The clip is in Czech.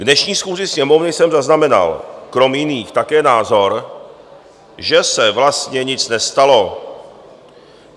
K dnešní schůzi Sněmovny jsem zaznamenal krom jiných také názor, že se vlastně nic nestalo.